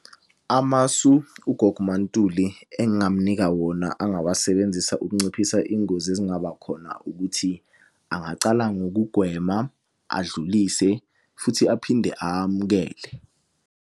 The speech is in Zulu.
Amasu ugogo uMaNtuli engingamunika wona angawasebenzisa ukunciphisa iy'ngozi ezingaba khona ukuthi angacala ngokugwema, adlulise, futhi aphinde amukele.